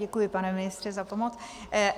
Děkuji, pane ministře, za pomoc.